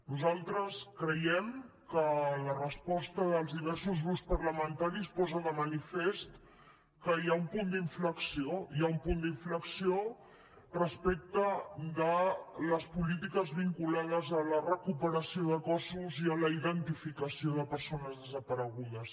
nosaltres creiem que la resposta dels diversos grups parlamentaris posa de manifest que hi ha un punt d’inflexió hi ha un punt d’inflexió respecte de les polítiques vinculades a la recuperació de cossos i a la identificació de persones desaparegudes